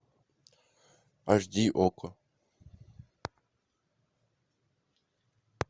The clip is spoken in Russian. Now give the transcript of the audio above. аш ди окко